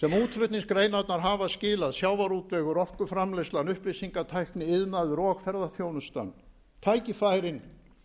sem útflutningsgreinar hafa skilað sjávarútvegur orkuframleiðsla upplýsingatækni iðnaður og ferðaþjónustan tækifærin